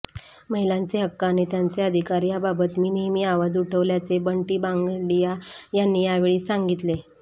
महिलांचे हक्क आणि त्यांचे अधिकार याबाबत मी नेहमी आवाज उठविल्याचे बंटी भांगडिया यांनी यावेळी सांगितले